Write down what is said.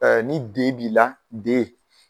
ni D b'i la D